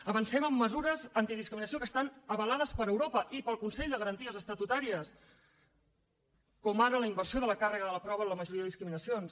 avancem amb mesures antidiscriminació que estan avalades per europa i pel consell de garanties estatutàries com ara la inversió de la càrrega de la prova en la majoria de discriminacions